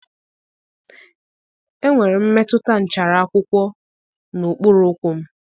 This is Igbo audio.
Enwere m mmetụta nchara akwụkwọ n'okpuru ụkwụ m.